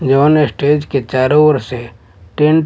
जवान स्टेज के चारो ओर से टेंट --